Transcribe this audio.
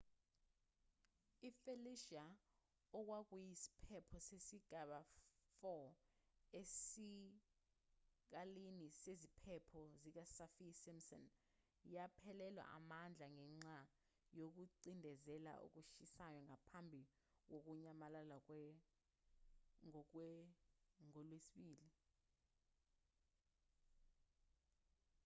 i-felicia okwakuyisiphepho sesigaba 4 esikalini seziphepho sikasaffir-simpson yaphelelwa amandla ngenxa yokucindezela okushisayo ngaphambi kokunyamalala ngolwesibili